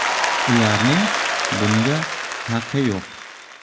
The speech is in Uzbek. Ularning bunga haqi yo‘q.